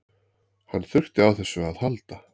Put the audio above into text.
Hann þurfti á þessu að halda